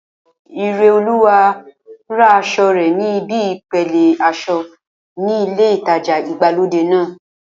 Ireolúwa ra aṣọ rẹ̀ ní ibi ìpele aṣọ ní ilé ìtajà ìgbàlódé náà